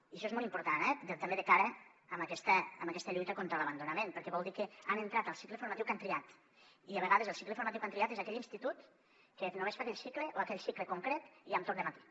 i això és molt important eh també de cara a aquesta lluita contra l’abandonament perquè vol dir que han entrat al cicle formatiu que han triat i a vegades el cicle formatiu que han triat és aquell institut que només fa aquell cicle o aquell cicle concret i amb torn de matí